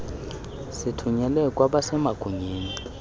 sithunyelwe kwabase magunyeni